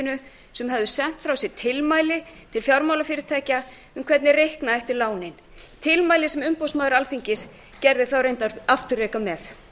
fjármálaeftirlitinu sem höfðu sent frá sér tilmæli til fjármálafyrirtækja um hvernig reikna ætti lánin tilmæli sem umboðsmaður alþingis gerði þau reyndar afturreka með